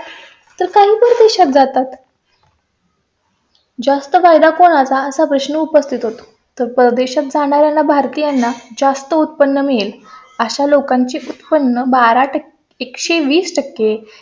जास्त फायदा कोणा चा? असा प्रश्न उपस्थित होतो तर परदेशात जाणारा भारतीयांना जास्त उत्पन्न मिळेल. अशा लोकांची उत्पन्न बारा टक्केएक सो वीस टक्के